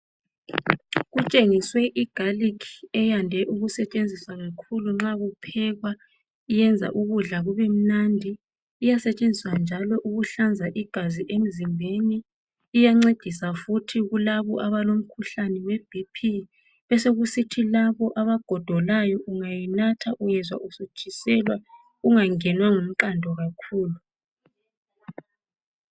Kutshengiswe Igarlic eyande ukusetshenziswa kakhulu nxa kuphekwa ..Yenza ukudla kube mnandi. Iyasetshenziswa njalo ukuhlanza. igazi emzimbeni .Iyancedisa futhi kulabo abalomkhuhlane we BP .Besokusithi labo abagodolayo ungayinatha uyezwa usutshiselwa ungangenwa ngumqando kakhulu .